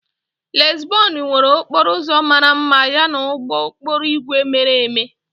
Lizbon nwere okporo ụzọ mara mma yana ụgbọ okporo ígwè mere eme.